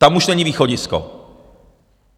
Tam už není východisko.